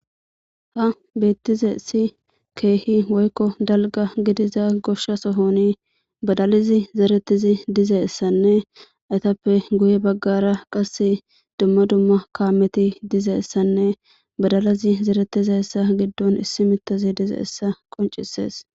ha beettize si keehi woykko dalga gidiza gosha sohoni badalizi zeretizi dizeessanne aytappe guye baggara qase dumma dumma kaameti dizeessanne badalizi zeretiza essa giddon issi mitazi dize essa qoncisees